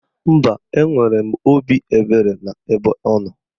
Mba, enwere m obi ebere n'ebe ọnọ